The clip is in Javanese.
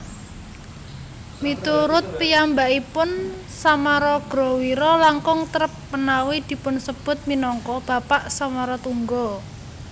Miturut piyambakipun Samaragrawira langkung trep menawi dipunsebut minangka bapak Samaratungga